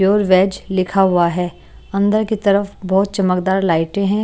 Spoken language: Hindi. प्योर वेज लिखा हुआ है अंदर की तरफ बहुत चमकदार लाइटें हैं।